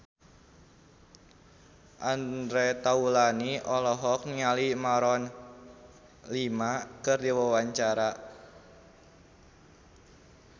Andre Taulany olohok ningali Maroon 5 keur diwawancara